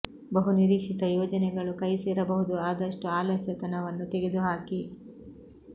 ಬಹುನಿರೀಕ್ಷಿತ ಯೋಜನೆಗಳು ಕೈ ಸೇರಬಹುದು ಆದಷ್ಟು ಆಲಸ್ಯತನ ವನ್ನು ತೆಗೆದು ಹಾಕಿ